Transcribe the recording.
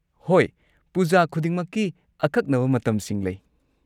ꯍꯣꯏ, ꯄꯨꯖꯥ ꯈꯨꯗꯤꯡꯃꯛꯀꯤ ꯑꯀꯛꯅꯕ ꯃꯇꯝꯁꯤꯡ ꯂꯩ꯫